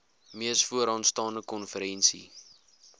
mees vooraanstaande konferensie